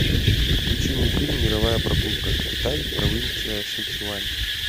включи мне фильм мировая прогулка китай провинция сычуань